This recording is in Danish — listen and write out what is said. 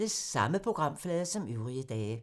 Samme programflade som øvrige dage